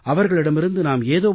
அவர்களிடமிருந்து நாம் ஏதோ